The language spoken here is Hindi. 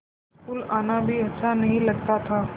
स्कूल आना भी अच्छा नहीं लगता था